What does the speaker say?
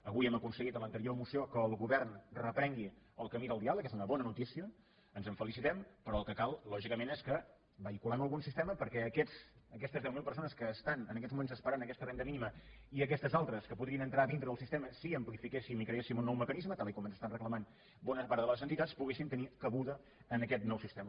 avui hem aconseguit en l’anterior moció que el govern reprengui el camí del diàleg és una bona notícia ens en felicitem però el que cal lògicament és que vehiculem algun sistema perquè aquestes deu mil persones que estan en aquests moments esperant aquesta renda mínima i aquestes altres que podrien entrar dintre del sistema si amplifiquéssim i creéssim un nou mecanisme tal i com ens estan reclamant bona part de les entitats poguessin tenir cabuda en aquest nou sistema